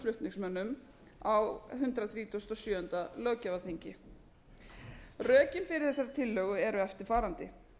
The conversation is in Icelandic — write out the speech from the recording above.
flutningsmönnum á hundrað þrítugasta og sjöunda löggjafarþingi rökin fyrir þessari tillögu eru eftirfarandi